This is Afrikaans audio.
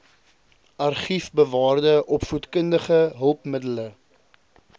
argiefbewaarde opvoedkundige hulpmiddele